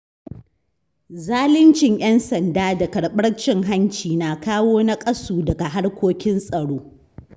Zaluncin ‘yan sanda da karɓar cin hanci na kawo naƙasu ga harkokin tsaro.